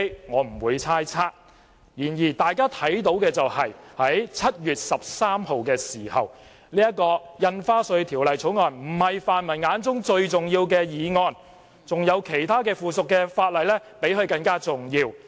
我不會猜測背後的動機，然而大家看到的是，在7月13日，《條例草案》並非泛民議員眼中最重要的議項，他們認為附屬法例比它重要。